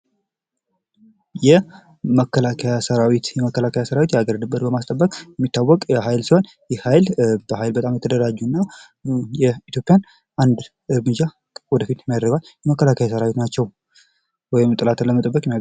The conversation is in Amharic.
የመከላከያ ሰራዊት የመከላከያ የሀገር ድንበርን የሚታወቅ ሀይል ሲሆን ይህ ሃይል አገልግሎት የኃይል በሀገራትና መከላከያ ሰራዊት ናቸው።